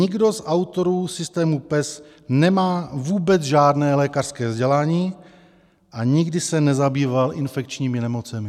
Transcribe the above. Nikdo z autorů systému PES nemá vůbec žádné lékařské vzdělání a nikdy se nezabýval infekčními nemocemi.